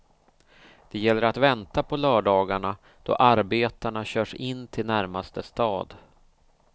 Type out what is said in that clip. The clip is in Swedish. Det gäller att vänta på lördagarna då arbetarna körs in till närmaste stad.